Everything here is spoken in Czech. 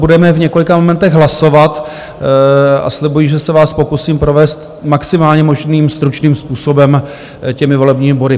Budeme v několika momentech hlasovat a slibuji, že se vás pokusím provést maximálně možným stručným způsobem těmi volebními body.